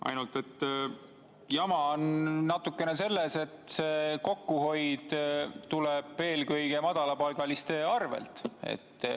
Ainult et jama on natukene selles, et kokkuhoid tuleb eelkõige madalapalgaliste arvelt.